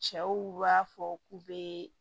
Cɛw b'a fɔ k'u be